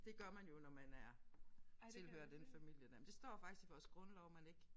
Det gør man jo når man er tilhører den familie der men det står faktisk i vores grundlov man ikke